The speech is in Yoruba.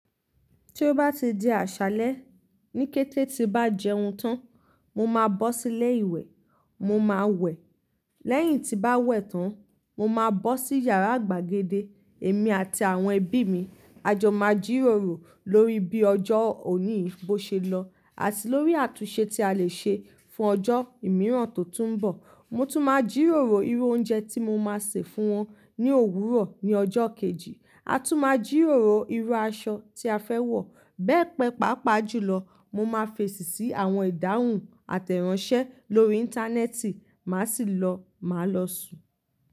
Tí ó bá ti di àṣálẹ́, ní kété tí bá jẹun tán, mo máa bọ́ sílé ìwẹ̀, mo máa wẹ̀. Lẹ́yìn tí bá wẹ̀ tán, mo máa bọ́ sí yàrá gbàgede, èmi àti àwọn ẹbí mi. A jọ máa jíròrò lórí bí ọjọ́ òní bó ṣe lọ, àti lórí àtúnṣe tí a lè ṣe fún ọjọ́ mìíràn tó tún ń bọ̀. Mo tún máa jíròrò irú oúnjẹ tí mo máa sè fún wọn ní òwúrọ̀ ní ọjọ́ kejì. A tún máa jíròrò irú aṣọ tí a fẹ́ wọ̀. Bẹ́ẹ̀ pẹ́pa pa ju lọ, mo máa fèsì sí àwọn ìdáhùn àtẹ́ ìránṣẹ́ lórí Íńtánẹ́ẹ̀tì. Màá sì lọ, màá lọ sùn.